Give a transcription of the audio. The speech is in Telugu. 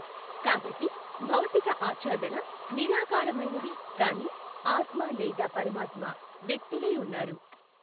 కాబట్టి భౌతిక ఆఛ్ఛాదన నిరాకారమైనది కానీ ఆత్మ లేదా పరమాత్మ వ్యక్తులై ఉన్నారు.